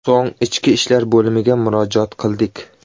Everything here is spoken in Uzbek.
So‘ng ichki ishlar bo‘limiga murojaat qildik.